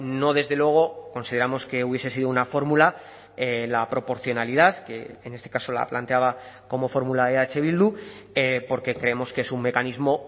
no desde luego consideramos que hubiese sido una fórmula la proporcionalidad que en este caso la planteaba como fórmula eh bildu porque creemos que es un mecanismo